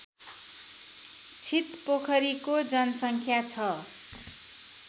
छितपोखरीको जनसङ्ख्या छ